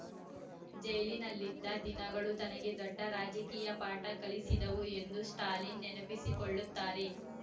ಜೈಲಿನಲ್ಲಿದ್ದ ದಿನಗಳು ತನಗೆ ದೊಡ್ಡ ರಾಜಕೀಯ ಪಾಠ ಕಲಿಸಿದವು ಎಂದು ಸ್ಟಾಲಿನ್‌ ನೆನಪಿಸಿಕೊಳ್ಳುತ್ತಾರೆ